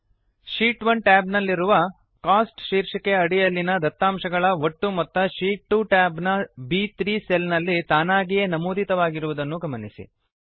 sheet 1 tab ನಲ್ಲಿರುವ costs ಶೀರ್ಷಿಕೆಯ ಅಡಿಯಲ್ಲಿನ ದತ್ತಾಂಶಗಳಡೇಟಾ ಒಟ್ಟು ಮೊತ್ತ ಶೀಟ್ 2 ಟ್ಯಾಬ್ ನ ಬ್3 ಸೆಲ್ ನಲ್ಲಿ ತಾನಾಗಿಯೇ ನಮೂದಿತವಾಗಿರುವುದನ್ನು ಗಮನಿಸಿ